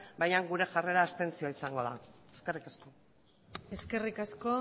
baina gure jarrera abstentzioa izango da eskerrik asko eskerrik asko